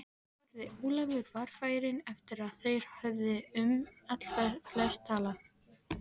spurði Ólafur varfærinn eftir að þeir höfðu um allflest talað.